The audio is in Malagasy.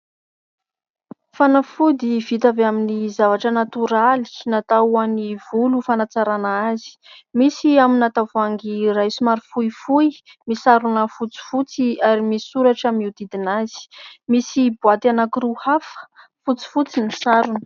Fanafody vita avy amin'ny zavatra natoraly, natao ho an'ny volo ho fanatsarana azy. Misy amina tavoahangy iray somary fohifohy misarona fotsifotsy ary misy soratra miodidina azy. Misy boaty anankiroa hafa, fotsifotsy ny sarony.